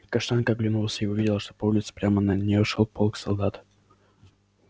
каштанка оглянулась и увидела что по улице прямо на неё шёл полк солдат